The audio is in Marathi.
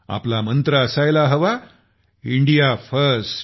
आपला मंत्र असायला हवा इंडिया फर्स्ट